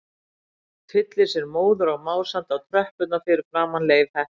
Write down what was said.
Tyllir sér móður og másandi á tröppurnar fyrir framan Leif heppna.